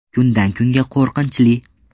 Kundan kunga qo‘rqinchli”.